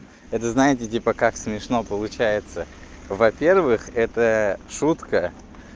это знаете типа как смешно получается во-первых это шутка